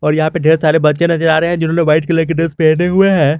और यहां पे ढेर सारे बच्चे नजर आ रहे हैं जिन्होंने व्हाइट कलर की ड्रेस पहने हुए हैं।